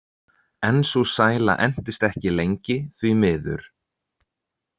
En sú sæla entist ekki lengi, því miður.